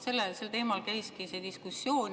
Vaat sel teemal käiski diskussioon.